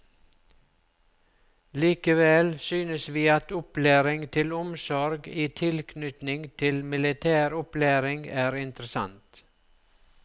Likevel synest vi at opplæring til omsorg i tilknytning til militær opplæring er interessant.